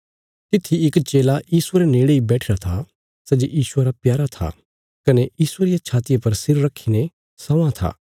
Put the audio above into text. तित्थी इक चेला यीशुये रे नेड़े इ बैठिरा था सै जे यीशुये रा प्यारा था कने यीशुये रिया छातिया पर सिर रखीने स्वां था